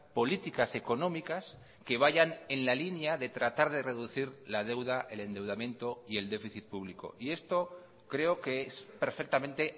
políticas económicas que vayan en la línea de tratar de reducir la deuda el endeudamiento y el déficit público y esto creo que es perfectamente